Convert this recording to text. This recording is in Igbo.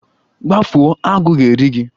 Gbafuo! Agụ ga-eri gi